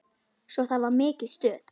Svo það var mikið stuð.